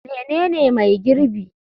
Menene mai girbi?